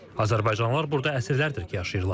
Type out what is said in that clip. Azərbaycanlılar burda əsrlərdir ki, yaşayırlar.